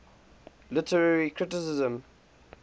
literary criticism